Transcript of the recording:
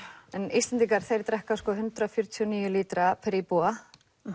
Íslendingar þeir drekka hundrað fjörutíu og níu lítra per íbúa